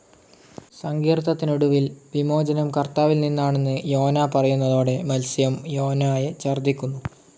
സങ്കീർത്തനത്തിനൊടുവിൽ, വിമോചനം കർത്താവിൽ നിന്നാണെന്ന് യോനാ പറയുന്നതോടെ മത്സ്യം യോനായെ ഛർദ്ദിക്കുന്നു.